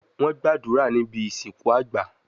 Wọ́n gbàdúrà níbi ìsìnkú àgbà